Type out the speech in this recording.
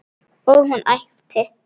Og hún æpti.